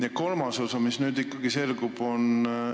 Ja kolmandaks, mis nüüd ikkagi selgus?